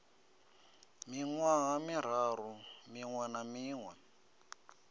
miṅwaha miraru miṅwe na miṅwe